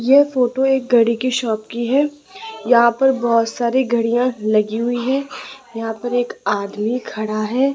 यह फोटो एक घड़ी की शॉप की हैं यहां पर बहोत सारी घड़ियां लगी हुईं हैं यहां पर एक आदमी खड़ा हैं।